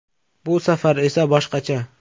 Bu safar esa boshqacha.